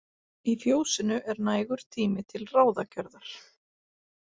Í fjósinu er nægur tími til ráðagjörðar.